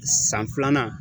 San filanan